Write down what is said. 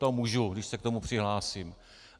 To můžu, když se k tomu přihlásím.